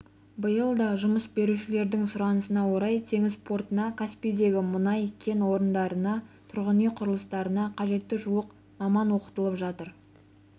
биыл да жұмыс берушілердің сұранысына орай теңіз портына каспийдегі мұнай кен орындарына тұрғын үй құрылыстарына қажетті жуық маман оқытылып жатыр